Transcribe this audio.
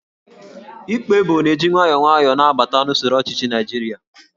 Íkpá Ébò na-eji nwayọọ nwayọọ na-abata n'usoro ọchịchị Naijiria